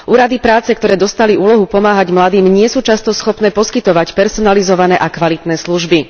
Úrady práce, ktoré dostali úlohu pomáhať mladým nie sú často schopné poskytovať personalizované a kvalitné služby.